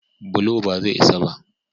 bulo ba zai isa ba